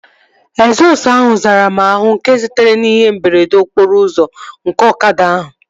Egzọsụ ahụ zara m àhú nke sitere n'ihe mberede okporo ụzọ nke ọkada ahụ